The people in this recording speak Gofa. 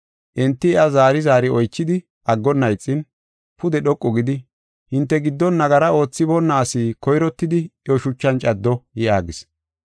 Enti iya zaari zaari oychidi aggonna ixin, pude dhoqu gidi, “Hinte giddon nagara oothiboonna asi koyrottidi iyo shuchan caddo” yaagis.